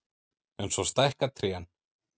En svo stækka trén.